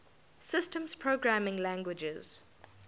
systems programming languages